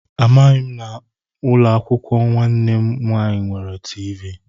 Amaghị m na ụlọakwụkwọ nwanne m nwaanyị nwere tiivii